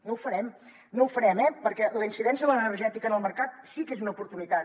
no ho farem no ho farem eh perquè la incidència de l’energètica en el mercat sí que és una oportunitat